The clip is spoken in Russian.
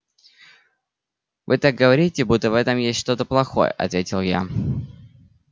вы так говорите будто в этом есть что-то плохое ответил я